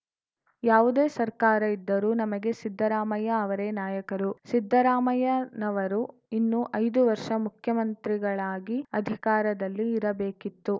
ಯಾವುದೇ ಸರ್ಕಾರ ಇದ್ದರೂ ನಮಗೆ ಸಿದ್ದರಾಮಯ್ಯ ಅವರೇ ನಾಯಕರು ಸಿದ್ದರಾಮಯ್ಯನವರು ಇನ್ನೂ ಐದು ವರ್ಷ ಮುಖ್ಯಮಂತ್ರಿಗಳಾಗಿ ಅಧಿಕಾರದಲ್ಲಿ ಇರಬೇಕಿತ್ತು